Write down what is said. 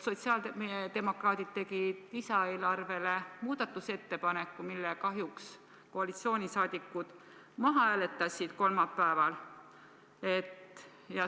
Sotsiaaldemokraadid tegid lisaeelarve kohta muudatusettepaneku, mille koalitsiooni liikmed kahjuks kolmapäeval maha hääletasid.